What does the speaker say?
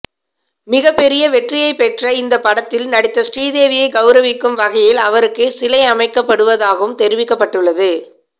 மிகப்பெரிய வெற்றியை பெற்ற இந்த படத்தில் நடித்த ஸ்ரீதேவியை கௌரவிக்கும் வகையில் அவருக்கு சிலை அமைக்கப்படுவதாகவும் தெரிவிக்கப்பட்டுள்ளது